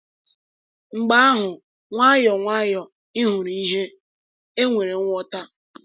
Mgbe ahụ, nwayọọ nwayọọ, ị hụrụ ìhè—e nwere ngwọta.